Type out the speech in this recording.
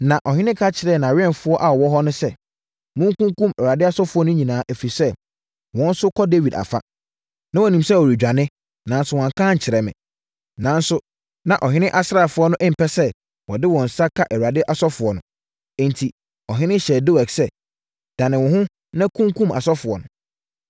Na ɔhene ka kyerɛɛ nʼawɛmfoɔ a wɔwɔ hɔ no sɛ, “Monkunkum Awurade asɔfoɔ no nyinaa, ɛfiri sɛ, wɔn nso kɔ Dawid afa. Na wɔnim sɛ ɔredwane, nanso wɔanka ankyerɛ me.” Nanso, na ɔhene asraafoɔ no mpɛ sɛ wɔde wɔn nsa ka Awurade asɔfoɔ no.